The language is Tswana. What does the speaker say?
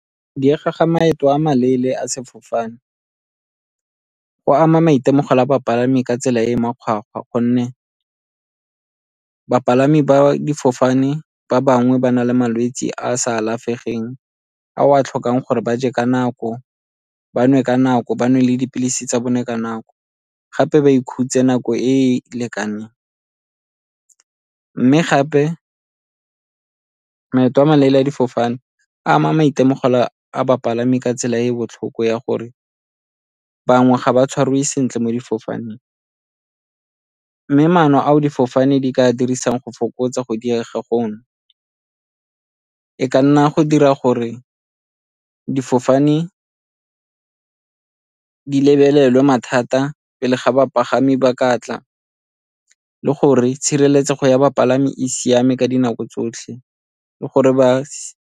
Diega ga maeto a maleele a sefofane go ama maitemogelo a bapalami ka tsela e e makgwakgwa, gonne bapalami ba difofane ba bangwe ba na le malwetse a a sa alafegeng, a o a tlhokang gore ba je ka nako, ba nwe ka nako, ba nwe le dipilisi tsa bone ka nako, gape ba ikhutse nako e lekaneng. Mme gape maeto a maleele a difofane a ama maitemogelo a bapalami ka tsela e e botlhoko ya gore bangwe ga ba tshwariwe sentle mo difofaneng, mme maano ao difofane di ka dirisang go fokotsa go diega gono, e ka nna go dira gore difofane di lebelelwe mathata pele ga bapagami ba ka tla le gore tshireletsego ya bapalami e siame ka dinako tsotlhe le gore ba .